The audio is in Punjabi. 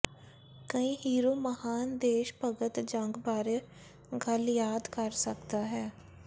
ਕਈ ਹੀਰੋ ਮਹਾਨ ਦੇਸ਼ ਭਗਤ ਜੰਗ ਬਾਰੇ ਗੱਲ ਯਾਦ ਕਰ ਸਕਦਾ ਹੈ